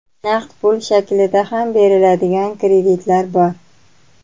Naqd pul shaklida ham beriladigan kreditlar bor.